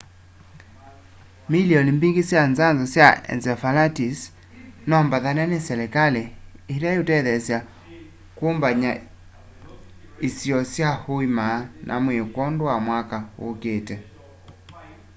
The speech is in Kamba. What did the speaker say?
milioni mbingi sya nzanzo ya encephalitis no mbaathane ni selikali ila iutethya kumbanya isiio sya uima wa mwii kwondu wa mwaka uukiite